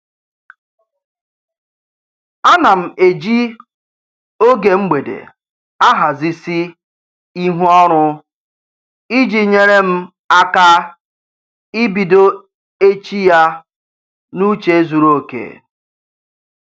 Ana m eji oge mgbede ahazisi ihu ọrụ iji nyere m aka ibido echi ya n'uche zuru oke